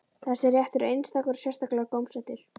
Þessi réttur er einstakur og sérstaklega gómsætur.